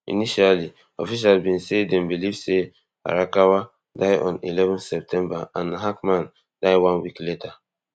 initially officials bin say dem believe say arakawa die on eleven february and hackman die one week later